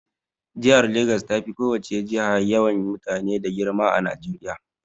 Jihar Legas tafi ko wace jiha yawan mutane da girma a Najeriya.